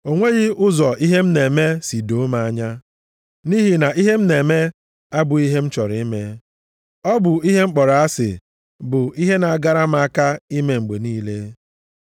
O nweghị ụzọ ihe m na-eme si doo m anya. Nʼihi na ihe m na-eme abụghị ihe m chọrọ ime, ọ bụ ihe m kpọrọ asị bụ ihe na-agara m aka ime mgbe niile.